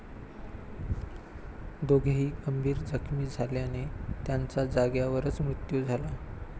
दोघेही गंभीर जखमी झाल्याने त्यांचा जाग्यावरच मृत्यु झाला.